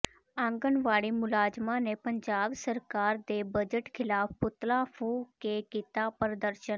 ਆਂਗਣਵਾੜੀ ਮੁਲਾਜ਼ਮਾਂ ਨੇ ਪੰਜਾਬ ਸਰਕਾਰ ਦੇ ਬਜਟ ਿਖ਼ਲਾਫ਼ ਪੁਤਲਾ ਫ਼ੂਕ ਕੇ ਕੀਤਾ ਪ੍ਰਦਰਸ਼ਨ